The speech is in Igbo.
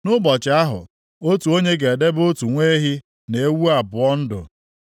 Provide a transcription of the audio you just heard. Nʼụbọchị ahụ, otu onye ga-edebe otu nwa ehi na ewu abụọ ndụ.